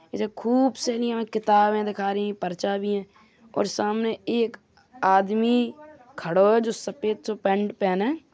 जिसमे खूब सेरी यहाँ किताबे दिखा रही है पर्चा भी है और सामने एक आदमी खड़ो है जो सफेद सो पेंट पहने है।